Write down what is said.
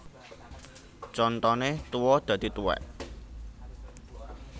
Contone tuwa dadi tuwèk